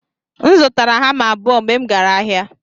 M zụtara hama abụo mgbe m gara ahịa.